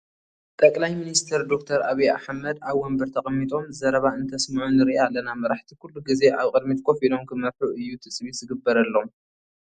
ጠቅላይ ሚኒስተር ዶክተር ዓብዪ ኣሕመድ ኣብ ወንበር ተቐሚጦም ዘረባ እንተስምዑ ንርኢ ኣለና፡፡ መሪሕቲ ኩሉ ግዜ ኣብ ቅድሚት ኮፍ ኢሎም ክመርሑ እዩ ትፅቢት ዝግበረሎም፡፡